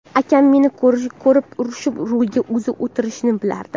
Akam meni ko‘rib urishib, rulga o‘zi o‘tirishini bilardim.